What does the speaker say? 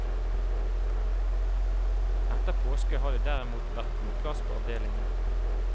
Etter påske har det derimot vært god plass på avdelingene.